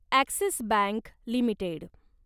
axis bank limited